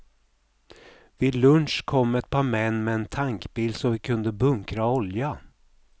Vid lunch kom ett par män med en tankbil så vi kunde bunkra olja.